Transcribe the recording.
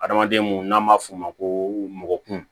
Adamaden mun n'an b'a f'o ma ko mɔ kun